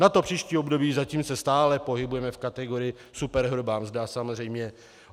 Na příští období, zatím se stále pohybujeme v kategorii superhrubá mzda samozřejmě.